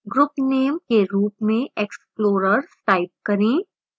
group name के रूप में explorers type करें